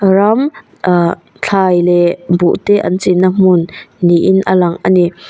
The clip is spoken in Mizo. ram ahh thlai leh buh te an chin na hmun niin a lang ani.